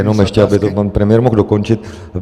Jenom ještě aby to pan premiér mohl dokončit.